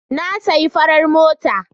Na sayi fafar mota.